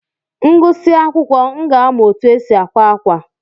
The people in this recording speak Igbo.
M gụsịa akwụkwọ, m ga-amụ otu e si àkwá ákwà.